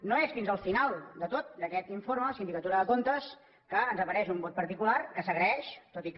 no és fins al final de tot d’aquest informe de la sindicatura de comptes que ens apareix un vot particular que s’agraeix tot i que